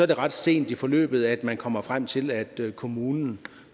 det ret sent i forløbet at man kommer frem til at kommunen